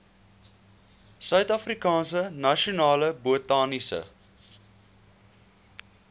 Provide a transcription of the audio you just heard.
suidafrikaanse nasionale botaniese